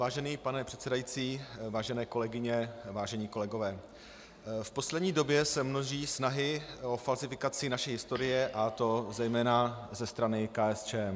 Vážený pane předsedající, vážené kolegyně, vážení kolegové, v poslední době se množí snahy o falzifikaci naší historie, a to zejména ze strany KSČM.